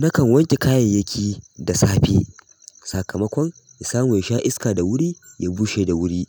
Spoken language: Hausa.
Nakan wanke kayayyaki da safe. Sakamakon in samu yasha iska da wuri, ya bushe da wuri